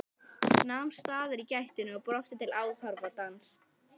Nam staðar í gættinni og brosti til áhorfandans.